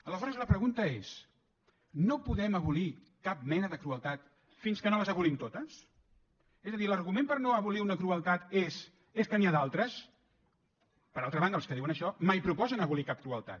aleshores la pregunta és no podem abolir cap mena de crueltat fins que no les abolim totes és a dir l’argument per no abolir una crueltat és que n’hi ha d’altres per altra banda els que diuen això mai proposen abolir cap crueltat